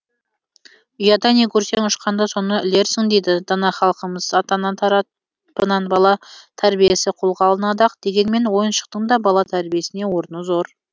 ұяда не көрсең ұшқанда соны ілерсің дейді дана халқымыз ата ана тарапынан бала тәрбиесі қолға алынады ақ дегенмен ойыншықтың да бала тәрбиесінде орны зор